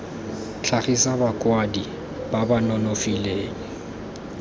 tlhagisa bakwadi ba ba nonofileng